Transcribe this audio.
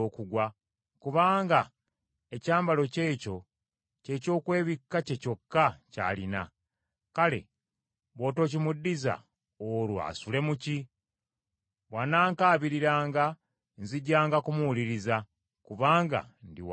kubanga ekyambalo kye ekyo kye ky’okwebikka kye kyokka ky’alina. Kale bw’otokimuddiza olwo asule mu ki? Bw’anankaabiriranga nzijanga kumuwuliriza, kubanga ndi wa kisa.